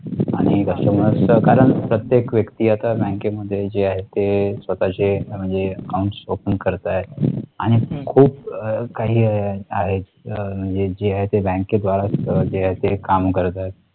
कारण प्रत्येक व्यक्ती आता बँकेमध्ये जे आहे ते स्वतः चे म्हणजे account open करत आहे आणि खूप काही आहे. म्हणजे जे आहे ते बँकेद्वारा आहे ते काम करतात